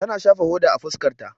Ta na shafa hoda a fuskar ta.